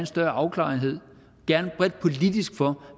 større afklarethed gerne bredt politisk for